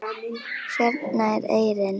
Hérna er eyrin.